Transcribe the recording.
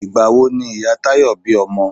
Ìgbà wo ni Ìyá Táyọ̀ bí ọmọ owọ́